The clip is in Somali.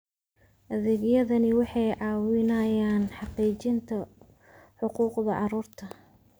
Adeegyadani waxay ka caawinayaan xaqiijinta xuquuqda carruurta.